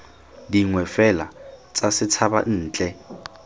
dingwe fela tsa setshaba ntle